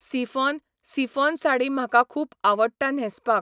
Chiffon chiffon sari म्हाका खूब आवडटा न्हेसपाक.